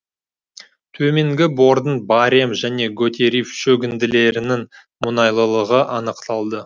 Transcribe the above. төменгі бордың баррем және готерив шөгінділерінің мұнайлылығы анықталды